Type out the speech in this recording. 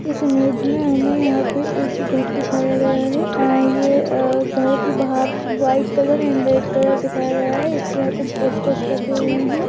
इस इमेज मे हमे यहा पे एक घर दिखाया गया है। अ ये घर की बाहर white colour and red colour दिखाया गया है। इसके बाहर कुछ पोस्टर लगे हुए है।